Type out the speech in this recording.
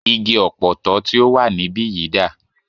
Igi Ọ̀pọ̀tọ́ tí o wà níbìyí dà?